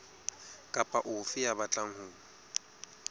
kapa ofe ya batlang ho